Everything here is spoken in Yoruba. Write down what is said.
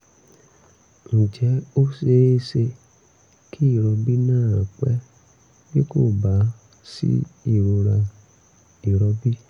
ǹjẹ́ ó ṣe é ṣe kí ìrọbí náà pẹ́ bí kò bá sí ìrora ìrọbí?